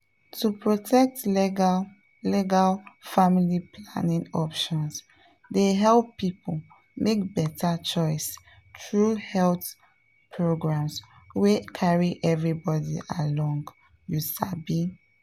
to protect legal legal family planning options dey help people make better choice through health programs wey carry everybody along you sabi.